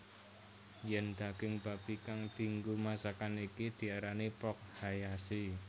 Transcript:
Yen daging babi kang dianggo masakan iki diarani Pork Hayashi